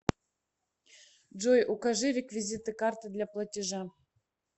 джой укажи реквизиты карты для платежа